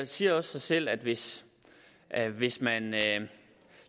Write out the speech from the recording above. siger også sig selv at hvis at hvis man